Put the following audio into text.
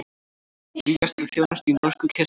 Vígjast til þjónustu í norsku kirkjunni